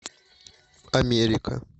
америка